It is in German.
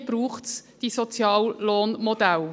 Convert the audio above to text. Hier braucht es die Soziallohnmodelle.